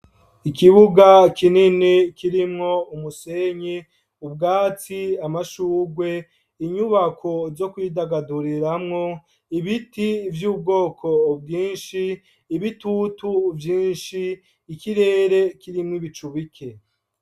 Ikibuga kinini kirimwo umusenyi, ubwatsi , amashurwe, inyubako zokwidagaduriramwo, ibiti vyubwoko bwinshi, ibitutu vyinshi, ikirere kirimwo ibicu bike.